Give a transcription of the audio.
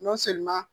N'o seli ma